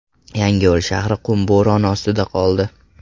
Yangiyo‘l shahri qum bo‘roni ostida qoldi.